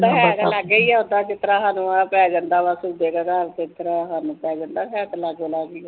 ਹੈ ਤਾਂ ਲਾਗੇ ਹੀ ਆ ਓਹਦਾ ਜਿਹਦਾ ਸਾਨੂੰ ਵਾਟ ਪੈ ਜਾਂਦਾ ਥੋਡੇ ਘਰਾਂ ਦਾ ਤੇ ਥੋਨੂੰ ਸਾਡੇ ਘਰਾਂ ਦਾ ਹੈ ਤਾਂ ਲਾਗੇ ਲਾਗੇ ਹੀ ਆ